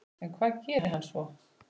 En hvað gerir hann svo?